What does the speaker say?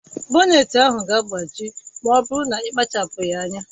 Boneti ahụ ga-agbaji ma ọ bụrụ na ị kpachapụghị anya